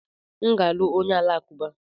M ga-alụ onye Alakụba.